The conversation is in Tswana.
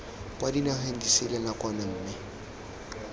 kwa dinageng disele nakwana mme